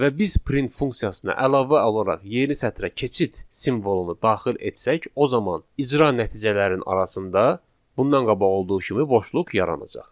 Və biz print funksiyasına əlavə olaraq yeni sətrə keçid simvolunu daxil etsək, o zaman icra nəticələrinin arasında bundan qabaq olduğu kimi boşluq yaranacaq.